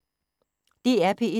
DR P1